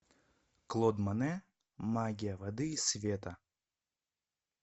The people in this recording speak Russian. клод моне магия воды и света